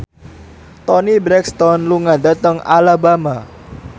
Toni Brexton lunga dhateng Alabama